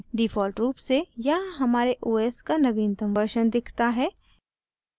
default रूप से यहाँ हमारे os का नवीनतम version दिखता है